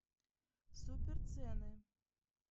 суперцены